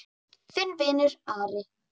Þinn vinur, Ari.